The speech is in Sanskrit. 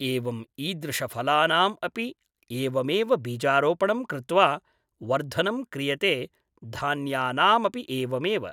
एवम् ईदृशफलानाम् अपि एवमेव बीजारोपणं कृत्वा वर्धनं क्रियते धान्यानामपि एवमेव